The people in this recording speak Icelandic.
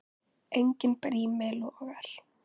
Enginn brími logar.